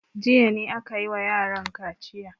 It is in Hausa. Jiya ne aka yi wa yaran kaciya.